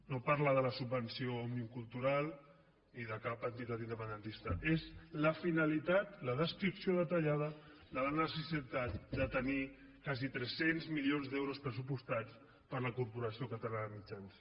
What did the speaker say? no parla de la subvenció a òmnium cultural ni de cap entitat independentista és la finalitat la descripció detallada de la necessitat de tenir quasi tres cents milions d’euros pressupostats per a la corporació catalana de mitjans